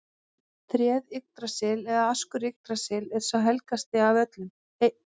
Tréð Yggdrasill eða askur Yggdrasils er sá helgasti af öllum.